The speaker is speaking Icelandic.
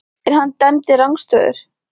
En hann dæmdi rangstöðu?